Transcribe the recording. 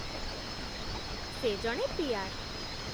ସେ ଜଣେ ପି.ଆର୍. ।